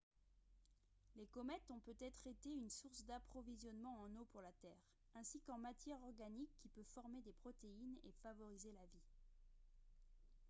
les comètes ont peut-être été une source d'approvisionnement en eau pour la terre ainsi qu'en matière organique qui peut former des protéines et favoriser la vie